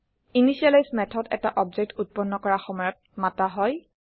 initialise method এটা object উত্পন্ন কৰা সময়ত মাতা হয়